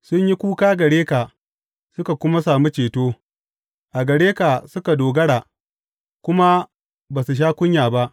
Sun yi kuka gare ka suka kuma sami ceto; a gare ka suka dogara kuma ba su sha kunya ba.